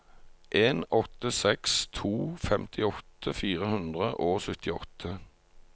en åtte seks to femtiåtte fire hundre og syttiåtte